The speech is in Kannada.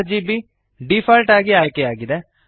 ಆರ್ಜಿಬಿ ಡೀಫಾಲ್ಟ್ ಆಗಿ ಆಯ್ಕೆಯಾಗಿದೆ